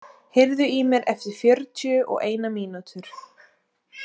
Sigurða, heyrðu í mér eftir fjörutíu og eina mínútur.